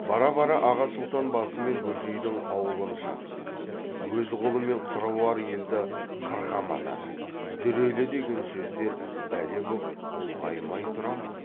бара бара аға сұлтан басымен бөжейдің аулын шапты өз қолымен қыруар елді қырқа матады дүрелі деген сөздер бәле боп ұлғаймай тұра ма